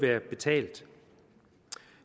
være betalt